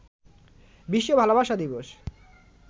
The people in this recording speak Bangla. বিশ্ব ভালোবাসা দিবস